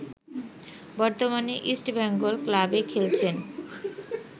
বর্তমানে ইস্টবেঙ্গল ক্লাবে খেলছেন